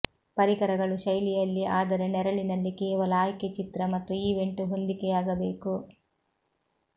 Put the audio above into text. ಪರಿಕರಗಳು ಶೈಲಿಯಲ್ಲಿ ಆದರೆ ನೆರಳಿನಲ್ಲಿ ಕೇವಲ ಆಯ್ಕೆ ಚಿತ್ರ ಮತ್ತು ಈವೆಂಟ್ ಹೊಂದಿಕೆಯಾಗಬೇಕು